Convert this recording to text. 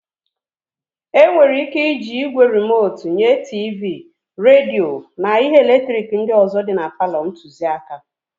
E nwere ị́ké ịji ígwè rimotu nye tiivii, redio na ihe eletrik ndị ọzọ dị palọ ntụziaka.